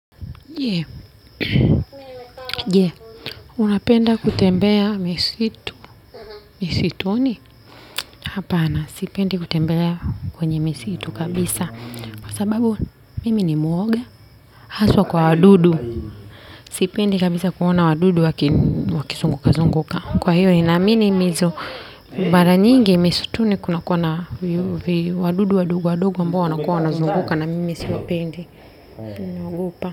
Je, je, unapenda kutembea misitu, misituni, hapana sipendi kutembea kwenye misitu kabisa, kwa sababu mimi ni mwoga, haswa kwa wadudu, sipendi kabisa kuona wadudu wakizunguka zunguka, kwa hiyo nina amini mizo, mara nyingi misituni kuna kuwa na wadudu wadogo wadogo ambao wanakuwa wanazunguka na mimi siwapendi, naogopa.